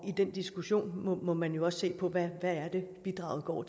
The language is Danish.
i den diskussion må man jo også se på hvad det er bidraget går